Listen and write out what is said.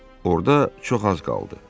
Orda çox az qaldı.